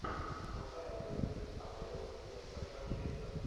повторяй дерби апл лестер манчестер